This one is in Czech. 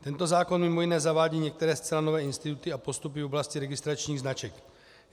Tento zákon mimo jiné zavádí některé zcela nové instituty a postupy v oblasti registračních značek.